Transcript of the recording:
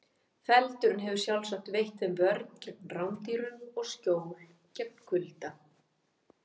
Feldurinn hefur sjálfsagt veitt þeim vörn gegn rándýrum og skjól gegn kulda.